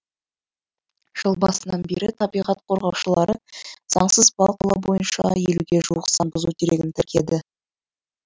жыл басынан бері табиғат қорғаушылары заңсыз балық аулау бойынша елуге жуық заң бұзу дерегін тіркеді